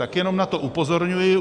Tak jenom na to upozorňuji.